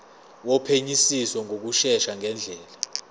wophenyisiso ngokushesha ngendlela